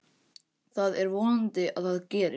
Það er vonandi að það gerist.